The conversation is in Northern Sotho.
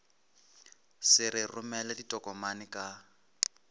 se re romele ditokomane ka